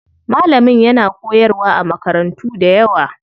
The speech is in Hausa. Malamin yana koyarwa a makarantu dayawa.